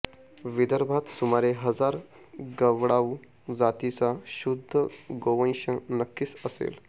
विदर्भात सुमारे हजार गवळाऊ जातीचा शुद्ध गोवंश नक्कीच असेल